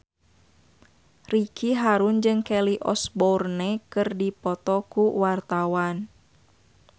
Ricky Harun jeung Kelly Osbourne keur dipoto ku wartawan